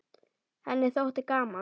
Henni þótti gaman.